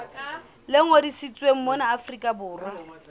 le ngodisitsweng mona afrika borwa